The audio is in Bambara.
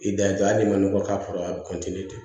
I dan ye dɔrɔn hali ma nɔgɔ k'a fara a bi de